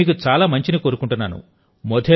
నేను మీకు చాలా మంచిని కోరుకుంటున్నాను